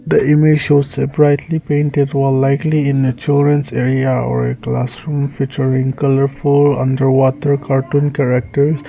the image shows surprisely paint a wall likely in the torrent area classroom featuring colourful underwater cartoon characters.